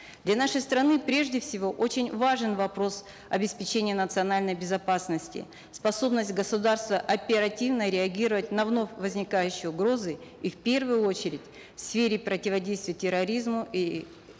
для нашей страны прежде всего очень важен вопрос обеспечения национальной безопасности способность государства оперативно реагировать на вновь возникающие угрозы и в первую очередь в сфере противодействия терроризму и